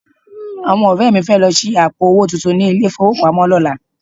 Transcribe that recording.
Àwọn ọ̀rẹ́ mi fẹ́ lọ ṣí àpò owó tuntun ní ilé-ìfowópamọ́ lọ́la